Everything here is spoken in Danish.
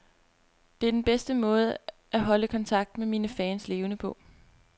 Det er den bedste måde at holde kontakten med mine fans levende på.